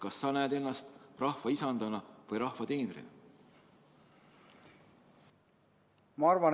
Kas sa näed ennast rahva isandana või rahva teenrina?